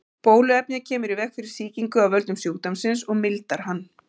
Bóluefnið kemur í veg fyrir sýkingu af völdum sjúkdómsins og mildar hann.